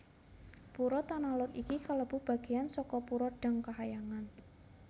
Pura Tanah Lot iki kalebu bagéyan saka pura Dang Kahyangan